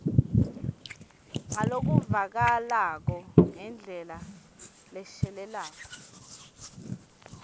ngalokuvakalako ngendlela leshelelako